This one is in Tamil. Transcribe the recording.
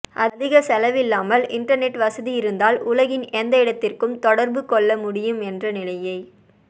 அதிக செலவில்லாமல் இண்டர்நெட் வசதி இருந்தால் உலகின் எந்த இடத்திற்கும் தொடர்பு கொள்ள முடியும் என்ற நிலையை